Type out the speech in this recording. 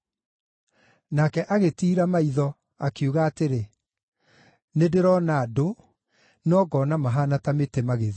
Nake agĩtiira maitho, akiuga atĩrĩ, “Nĩndĩrona andũ; no ngoona mahaana ta mĩtĩ magĩthiĩ.”